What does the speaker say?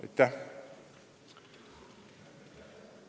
Aitäh!